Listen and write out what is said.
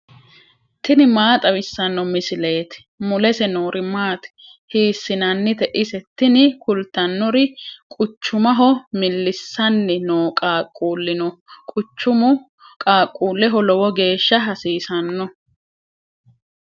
tini maa xawissanno misileeti ? mulese noori maati ? hiissinannite ise ? tini kultannori quchumaho millissanni noo qaaquulli no quchumu qaaquulleho lowo geeshsha hasiisanno.